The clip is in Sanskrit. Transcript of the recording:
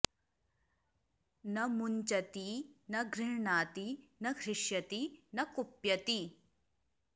न मुंचति न गृह्णाति न हृष्यति न कुप्यति